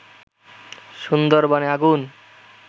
সুন্দরবনে আগুন